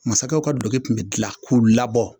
Mansakɛw ka duloki kun bɛ bila k'u labɔ,